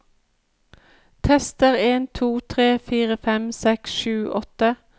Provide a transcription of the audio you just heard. Tester en to tre fire fem seks sju åtte